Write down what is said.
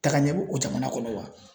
Takaɲɛ bɛ o jamana kɔnɔ wa ?